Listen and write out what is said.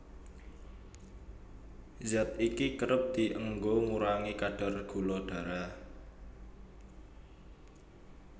Zat iki kerep dienggo ngurangi kadar gula darah